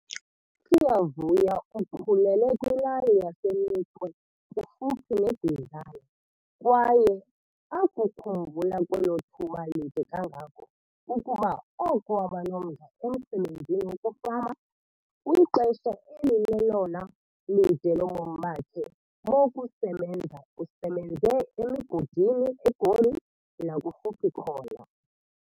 USiyavuya ukhulele kwilali yaseNikwe kufuphi neBizana kwaye akukhumbula kwelo thuba lide kangako kukuba oko waba nomdla emsebenzini wokufama. Kwixesha elilelona lide lobomi bakhe bokusebenza usebenze emigodini eGoli nakufuphi khona.